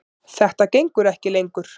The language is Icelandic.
Þetta gengur ekki lengur.